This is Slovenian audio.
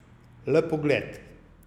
Le pogled.